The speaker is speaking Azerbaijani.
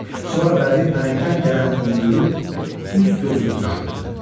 Sonra bəbir pələngdən gələn iyi duyub üz-gözünü turşutdu.